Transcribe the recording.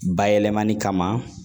Bayɛlɛmani kama